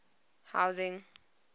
housing